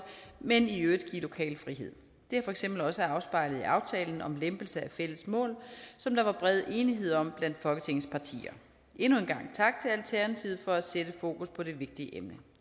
men i øvrigt give lokal frihed det er for eksempel også afspejlet i aftalen om en lempelse af fælles mål som der var bred enighed om blandt folketingets partier endnu en gang tak til alternativet for at sætte fokus på det vigtige emne